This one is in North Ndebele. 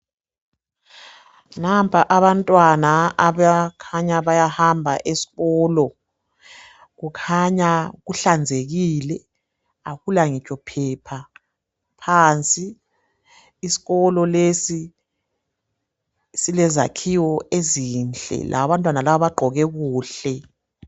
Nampa abantwana abakhanya bayahamba esikolo kukhanya kuhlanzekile akula ngitsho phepha phansi .Isikolo lesi silezakhiwo ezinhle , labantwana laba bagqoke kuhle.